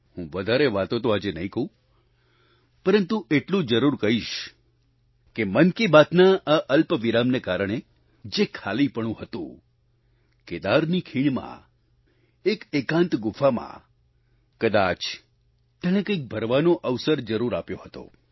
હું વધારે વાતો તો આજે નહીં કહું પરંતુ એટલું જરૂર કહીશ કે મન કી બાતના આ અલ્પ વિરામને કારણે જે ખાલીપણું હતું કેદારની ખીણમાં એક એકાંત ગુફામાં કદાચ તેણે કંઈક ભરવાનો અવસર જરૂર આપ્યો હતો